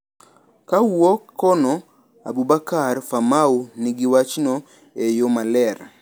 Kaowuok kono Aboubakar Famau nigi wachno e yo maler.